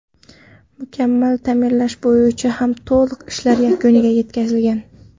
Mukammal ta’mirlash bo‘yicha ham to‘liq ishlar yakuniga yetkazilgan.